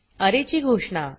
अरे ची घोषणा